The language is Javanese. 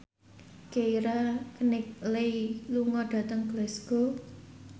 Keira Knightley lunga dhateng Glasgow